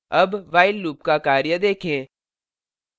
अब while loop का कार्य देखें